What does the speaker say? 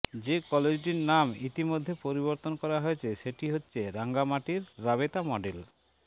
যে কলেজটির নাম ইতোমধ্যে পরিবর্তন করা হয়েছে সেটি হচ্ছে রাঙ্গামাটির রাবেতা মডেল